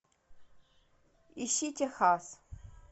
ищи техас